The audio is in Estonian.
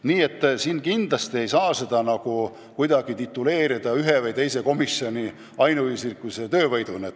Nii et kindlasti ei saa seda pidada ainult ühe või teise komisjoni töövõiduks.